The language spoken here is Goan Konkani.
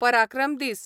पराक्रम दीस